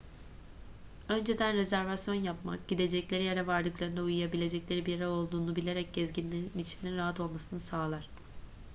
önceden rezervasyon yapmak gidecekleri yere vardıklarında uyuyabilecekleri bir yer olduğunu bilerek gezginlerin içinin rahat olmasını sağlar